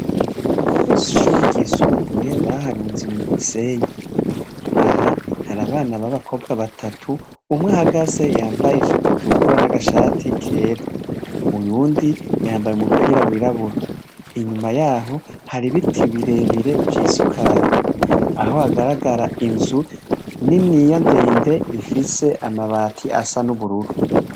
Kw’ishuri ryisumbuye baharunze musenyi ,aha hari abana babakobwa batatu umwe hagaze yambaye ijipitukura n'agashati kera, uyundi yambaye umupira w'irabura, inyuma yaho hari ibiti birebire vyisukaye aho hagaragara inzu ni niya ndende ifise amabati asa n'ubururu.